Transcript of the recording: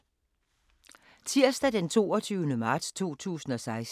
Tirsdag d. 22. marts 2016